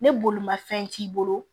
Ni bolimafɛn t'i bolo